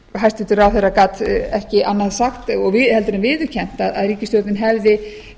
hæstvirtur ráðherra gat ekki annað sagt heldur en viðurkennt að ríkisstjórnin hefði